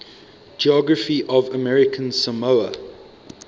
geography of american samoa